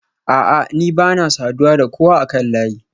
A'a ni bana saduwa da kowa akan layi